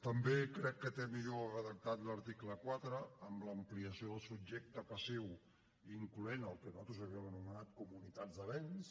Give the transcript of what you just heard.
també crec que té millor redactat l’article quatre amb l’ampliació del subjecte passiu incloent el que nosaltres havíem anomenat comunitats de béns